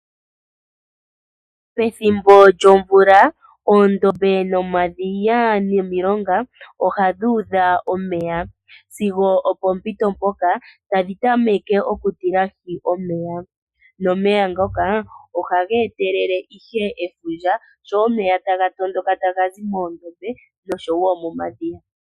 Pethimbo lyomvula shampa omvula yaloko nawa omadhiya, oondombe nomilonga oha dhuudha omeya nomeya ngaka ohaga kunguluka, eta geetelele oohi dhefundja.